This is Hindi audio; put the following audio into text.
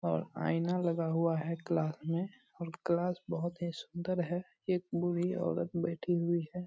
और आईना लगा हुआ है क्लास में और क्लास बहुत ही सुंदर है एक बूढी औरत बैठी हुई है।